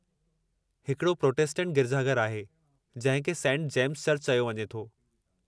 हिकड़ो प्रोटेस्टेंट गिरिजाघरु आहे जिंहिं खे सेंट जेम्स चर्च चयो वञे थो।